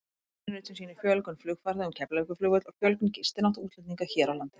Línurit sem sýnir fjölgun flugfarþega um Keflavíkurflugvöll og fjölgun gistinátta útlendinga hér á landi.